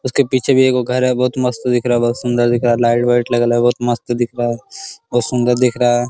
उसके पीछे भी एगो घर है बहुत मस्त दिख रहा है बहुत ही सुंदर दिख रहा लाइट वाइट लगल है बहुत मस्त दिख रहा है बहुत सुन्दर दिख रहा है।